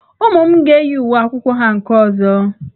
Ụmụ m ga-eyi uwe akwụkwọ ha nke ọzọ.